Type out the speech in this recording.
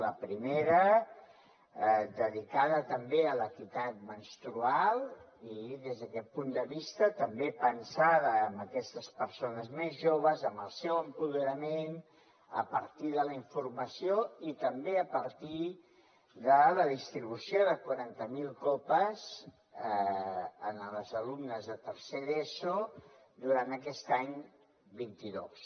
la primera dedicada també a l’equitat menstrual i des d’aquest punt de vista també pensada per a aquestes persones més joves el seu empoderament a partir de la informació i també a partir de la distribució de quaranta mil copes a les alumnes de tercer d’eso durant aquest any vint dos